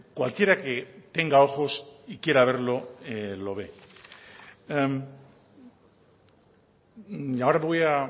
cualquiera que tenga ojos y quiera verlo lo ve ahora me voy a